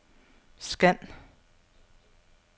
scan